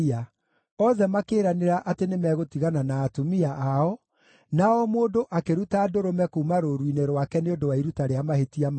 (Othe makĩĩranĩra atĩ nĩmegũtigana na atumia ao, na o mũndũ akĩruta ndũrũme kuuma rũũru-inĩ rwake nĩ ũndũ wa iruta rĩa mahĩtia mao.)